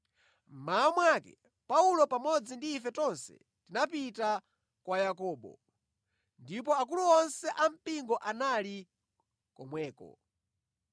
Mmawa mwake Paulo pamodzi ndi ife tonse tinapita kwa Yakobo, ndipo akulu onse a mpingo anali komweko.